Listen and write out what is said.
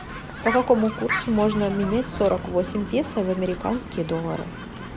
по какому курсу можно обменять сорок восемь песо в американские доллары